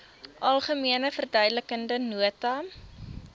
algemene verduidelikende nota